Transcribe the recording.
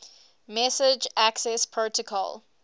message access protocol